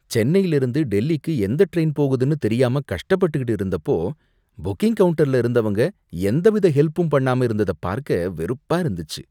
சென்னையிலிருந்து டெல்லிக்கு எந்த ட்ரெயின் போகுதுனு தெரியாம கஷ்டப்பட்டுகிட்டு இருந்தப்போ, புக்கிங் கவுண்டர்ல இருந்தவங்க எந்தவித ஹெல்பும் பண்ணாம இருந்தத பார்க்க வெறுப்பா இருந்துச்சு.